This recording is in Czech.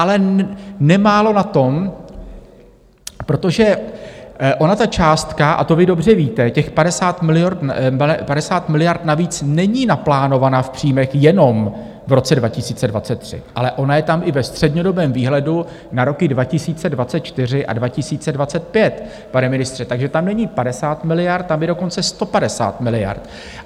Ale nemálo na tom, protože ona ta částka - a to vy dobře víte - těch 50 miliard navíc, není naplánována v příjmech jenom v roce 2023, ale ona je tam i ve střednědobém výhledu na roky 2024 a 2025, pane ministře, takže tam není 50 miliard, tam je dokonce 150 miliard.